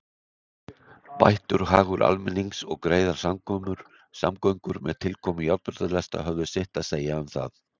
Bættur hagur almennings og greiðar samgöngur með tilkomu járnbrautarlesta höfðu sitt að segja um það.